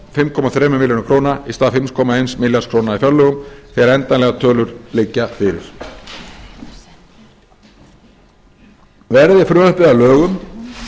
fimm komma þremur milljörðum króna í stað fimm komma eins milljarðs króna í fjárlögum þegar endanlegar tölur liggja fyrir verði frumvarpið að lögum